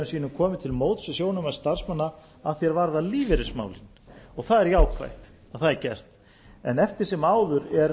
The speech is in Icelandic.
sínum komið til móts við sjónarmið starfsmanna að því er varðar lífeyrismálin og það er jákvætt að það er gert eftir sem áður